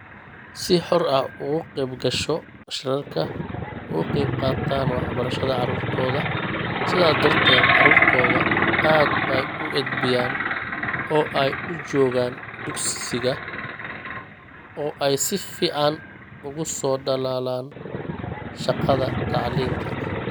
Si xor ah uga qaybgasho shirarka, uga qaybqaataan waxbarashada carruurtooda, sidaas darteed carruurtoodu aad bay u edbiyaan, oo ay u joogaan dugsiga oo ay si fiican uga soo dhalaalaan shaqada tacliinta.